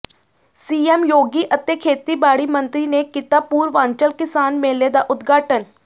CM Yogi ਅਤੇ ਖੇਤੀਬਾੜੀ ਮੰਤਰੀ ਨੇ ਕੀਤਾ ਪੂਰਵਾਂਚਲ ਕਿਸਾਨ ਮੇਲੇ ਦਾ ਉਦਘਾਟਨ